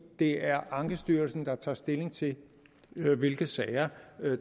det er ankestyrelsen der tager stilling til hvilke sager